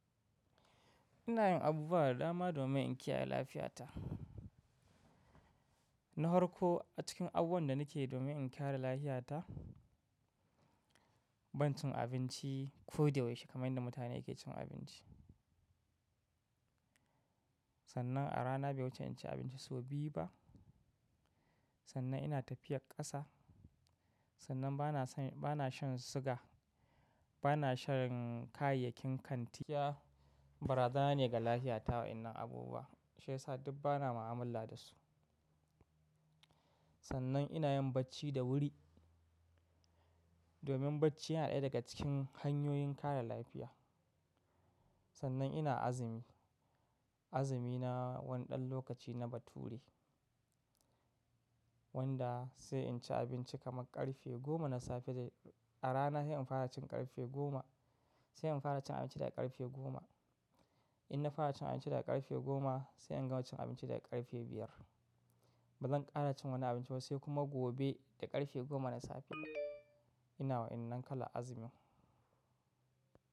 Ina yin abubuwa da dama domin in kiyaye lafiyata. Na hwarka a cikin abubuwan da nake yi domin in kare lafiyata, ban cin abinci ko da yaushe kamar yadda mutane ke cin abinci. Sannan a rana bai wuce in ci abinci sau biyu ba. Sannan ina tafiyar ƙasa. Sannan bana shan siga, bana shan kayayyakin kanti. Bara zana ne ga lafiyata wa'innan abubuwa shiyasa duk bana ma'amala da su. Sannan ina yin bacci da wuri domin bacci yana ɗaya daga cikin hanyoyin kare lafiya. Sannan ina azumi. Azumi na wani ɗan lokaci na bature wanda sai in ci abinci kamar ƙarfe goma na safe dai a rana sai in fara cin ƙarfe goma, sai in fara cin abinci daga ƙarfe goma. In na fara cin abinci daga ƙarfe goma sai in gama cin abinci daga ƙarfe biyar. Ba zan ƙara cin wani abinci ba sai kuma gobe da ƙarfe goma na safe. Ina wa'innan kala azumi.